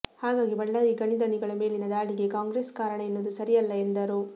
ಹಾಗಾಗಿ ಬಳ್ಳಾರಿ ಗಣಿಧಣಿಗಳ ಮೇಲಿನ ದಾಳಿಗೆ ಕಾಂಗ್ರೆಸ್ ಕಾರಣ ಎನ್ನುವುದು ಸರಿಯಲ್ಲ ಎಂದರು